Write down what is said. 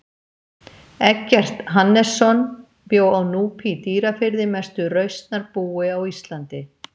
Eggert Hannesson bjó á Núpi í Dýrafirði mestu rausnarbúi á Íslandi.